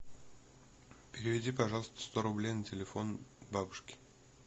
переведи пожалуйста сто рублей на телефон бабушке